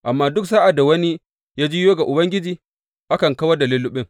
Amma duk sa’ad da wani ya juyo ga Ubangiji, akan kawar da lulluɓin.